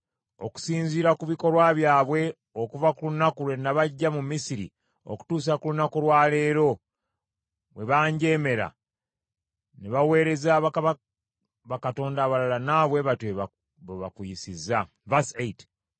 Okusinziira ku bikolwa byabwe okuva ku lunaku lwe nabaggya mu Misiri okutuusa ku lunaku lwa leero, bwe banjeemera, ne baweereza bakatonda abalala, nawe bwe batyo bwe bakuyisa.